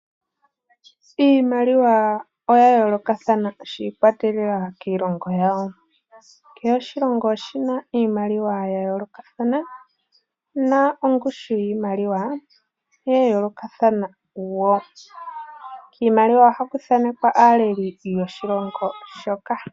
Iimaliwa oyayoolokathana shiikwatelela kiilongo yawo. Kehe oshilongo oshina iimaliwa ya yoolokathana nongushu yayooloka. Kiimaliwa ohaku thaanekwa aaleli yoshilongo shoka.